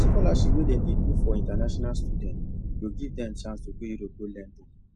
the scholarship wey dem dey do for international students go give dem chance to go europe go learn book